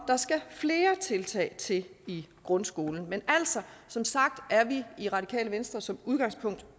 der skal flere tiltag til i grundskolen men som sagt er vi i radikale venstre som udgangspunkt